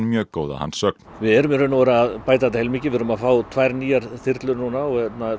mjög góð að hans sögn við erum í rauninni að bæta þetta heilmikið við erum að fá tvær nýjar þyrlur núna og